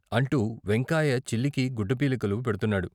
అంటూ వెంకాయ చిల్లికి గుడ్డ పేలికలు పెడుతున్నాడు.